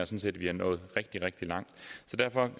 set at vi er nået rigtig rigtig langt